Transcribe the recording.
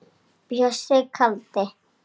Bjössi kaldi.